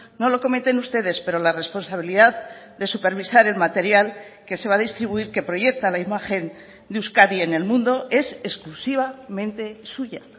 no lo cometen ustedes pero la responsabilidad de supervisar el material que se va a distribuir que proyecta la imagen de euskadi en el mundo es exclusivamente suya